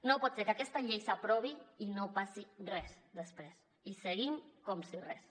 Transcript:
no pot ser que aquesta llei s’aprovi i no passi res després i seguim com si res